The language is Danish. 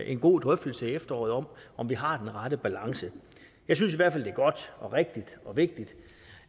en god drøftelse i efteråret om om vi har den rette balance jeg synes i hvert fald er godt og rigtigt og vigtigt